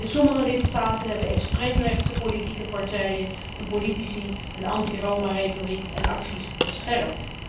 In sommige lidstaten hebben extreem rechtse politieke partijen en politici een anti Roma retoriek en acties verscherpt.